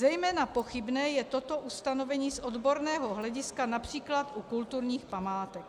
Zejména pochybné je toto ustanovení z odborného hlediska například u kulturních památek.